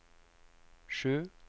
sju